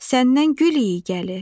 Səndən gül iyi gəlir.